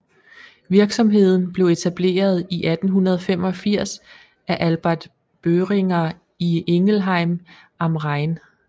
Virksomheden blev etableret i 1885 af Albert Boehringer i Ingelheim am Rhein